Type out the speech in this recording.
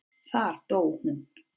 Þar dó hún.